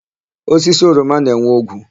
Osisi oroma na-enwe ogwu.